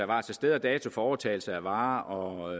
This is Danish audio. om sted og dato for overtagelse af varer og